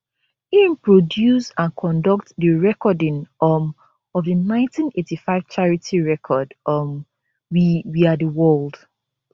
im produce and conduct di recording um of di 1985 charity record um we we are di world